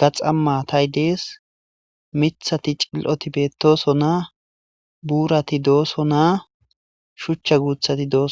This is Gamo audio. gaxama tay dees mithati cil7oti bettooso naa buurati dooso naa shuchcha guuthati dooso.